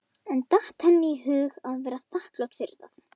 En datt henni í hug að vera þakklát fyrir það?